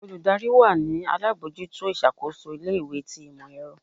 olùdarí wa ni alabọjuto iṣakoso ilé ìwé tí imọ-ẹrọ